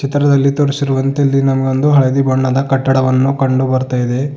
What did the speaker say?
ಚಿತ್ರದಲ್ಲಿ ತೋರಿಸಿರುವಂತೆ ಇಲ್ಲಿ ನಮಗೆ ಒಂದು ಹಳದಿ ಬಣ್ಣದ ಕಟ್ಟದವನ್ನು ಕಂಡು ಬರ್ತಾ ಇದೆ.